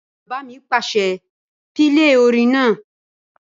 Bàbá mi pàṣẹ, "pílè orin náà!"